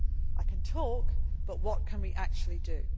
I can talk, but what can we actually do?